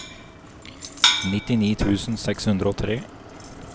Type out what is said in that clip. nittini tusen seks hundre og tre